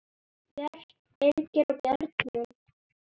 Björt, Birgir og börnin.